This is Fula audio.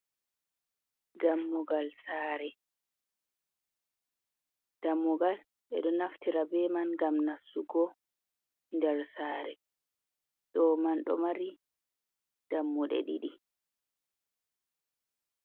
Dammugal saare, dammugal ɓe ɗo naftira be man ngam nassugo nder saare, ɗo man do mari dammude ɗiɗi.